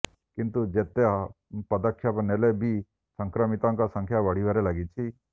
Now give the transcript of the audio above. କିନ୍ତୁ ଯେତେ ପଦକ୍ଷେପ ନେଲେ ବି ସଂକ୍ରମିତଙ୍କ ସଂଖ୍ୟା ବଢିବାରେ ଲାଗିଛି